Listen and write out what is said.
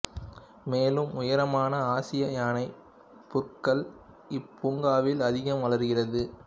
மேலும் உயரமான ஆசியா யானைப் புற்கள் இப்பூங்காவில் அதிகம் வளர்கிறது